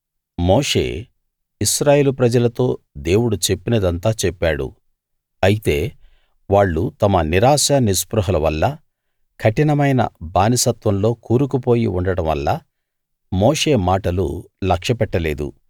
మోషే ఇశ్రాయేలు ప్రజలతో దేవుడు చెప్పినదంతా చెప్పాడు అయితే వాళ్ళు తమ నిరాశ నిస్పృహల వల్ల కఠినమైన బానిసత్వంలో కూరుకు పోయి ఉండడం వల్ల మోషే మాటలు లక్ష్యపెట్ట లేదు